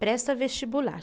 Presta vestibular.